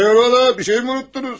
Hayırola, bir şey mi unuttunuz?